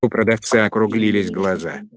у продавца округлились глаза